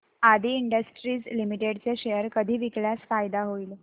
आदी industries limited चे share कधी विकल्यास फायदा होईल